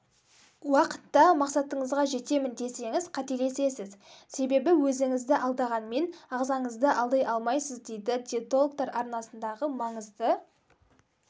уақытта мақсатыңызға жетемін десеңіз қателесесіз себебі өзіңізді алдағанмен ағзаңызды алдай алмайсыз дейді диетологтар арнасындағы маңызды